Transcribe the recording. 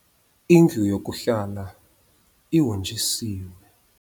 Indlu yokuhlala ihonjisiwe.